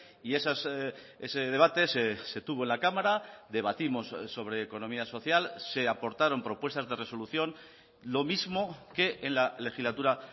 y ese debate se tuvo en la cámara debatimos sobre economía social se aportaron propuestas de resolución lo mismo que en la legislatura